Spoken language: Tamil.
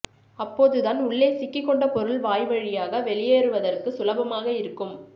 அப்போதுதான் உள்ளே சிக்கிக் கொண்ட பொருள் வாய் வழியாக வெளியேறுவதற்குச் சுலபமாக இருக்கும்